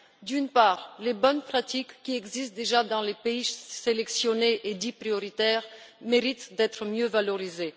D'une part, les bonnes pratiques qui existent déjà dans les pays sélectionnés et dits prioritaires méritent d'être mieux valorisées